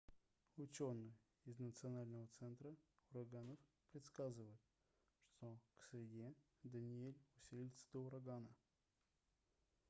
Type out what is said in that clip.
учёные из национального центра ураганов предсказывают что к среде даниэль усилится до урагана